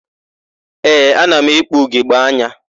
Ee, ana m ekpu ugogbeanya.